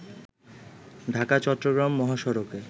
Dhaka-Chittagong মহসড়কে